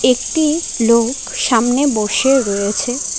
একটি লোক সামনে বসে রয়েছে।